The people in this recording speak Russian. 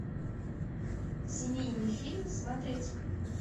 семейный фильм смотреть